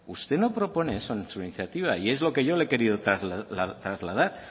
usted no propone eso en su iniciativa y es lo que yo le he querido trasladar